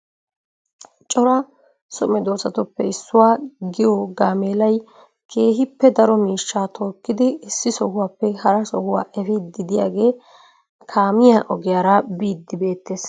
Cora so meddoosatuppe issuwaa giyo gaammelaay keehippe daro miishshaa tokiddi issi sohuwappe haraa sohuwaa eefiidi de'iyaage kaamiya ogiyaara biiddi beettees.